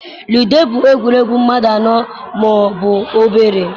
Ludo bụ egwuregwu mmadụ anọ ma ọ bụ obere.